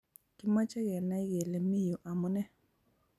Kimoche Kenai kele miyu amune